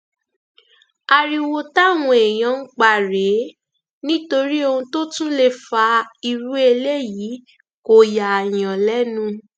ariwo táwọn èèyàn ń pa rèé nítorí ohun tó tún lè fa irú eléyìí kò yààyàn lẹnu